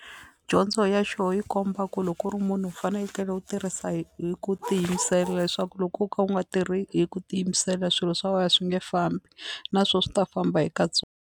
Dyondzo ya xo yi komba ku loko u ri munhu u fanekele u tirhisa hi hi ku tiyimisela leswaku loko wo ka u nga tirhi hi ku tiyimisela swilo swa wena swi nge fambi na swo swi ta famba hi ka .